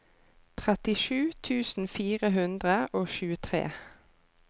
trettisju tusen fire hundre og tjuetre